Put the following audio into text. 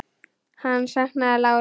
Hann saknaði láru.